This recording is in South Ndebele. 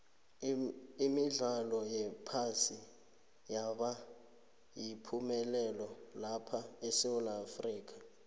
imidlalo yephasi yaba yipumelelo lapha esewula afrika